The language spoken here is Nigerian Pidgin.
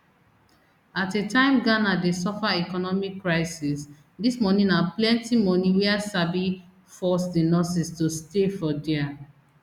at a time ghana dey suffer economic crisis dis moni na plenty moni wia sabi force di nurses to stay for dia